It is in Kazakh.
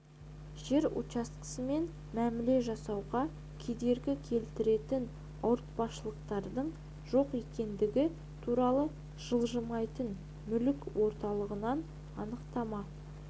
жер учаскесімен мәміле жасасуға кедергі келтіретін ауыртпалықтардың жоқ екендігі туралы жылжымайтын мүлік орталығынан анықтама